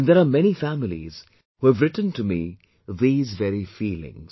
And there are many families who have written to me these very feelings